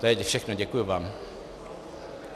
To je všechno, děkuji vám.